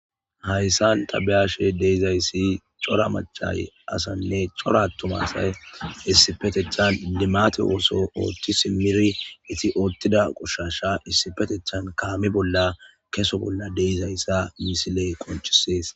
Haysan ta be'ashe dizaysi c'ora mac'a asayne c'ora atuma asay issipetetan limate oso othi simiri othida qoshasha issipetetan kame bola keso bola de'izaysa ha missiley qonc'ses.